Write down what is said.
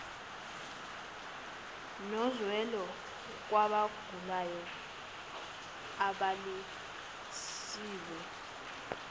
nozwelo kwabagulayo abalalisiwe